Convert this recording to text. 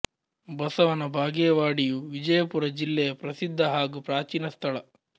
ಬಸವನ ಬಾಗೇವಾಡಿಯು ವಿಜಯಪುರ ಜಿಲ್ಲೆಯ ಪ್ರಸಿದ್ಧ ಹಾಗೂ ಪ್ರಾಚೀನ ಸ್ಥಳ